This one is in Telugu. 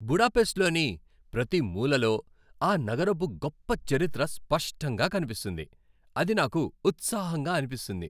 బుడాపెస్ట్లోని ప్రతి మూలలో ఆ నగరపు గొప్ప చరిత్ర స్పష్టంగా కనిపిస్తుంది, అది నాకు ఉత్సాహంగా అనిపిస్తుంది.